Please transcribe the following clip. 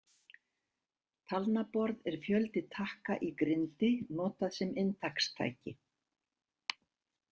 Talnaborð er fjöldi takka í grindi notað sem inntakstæki.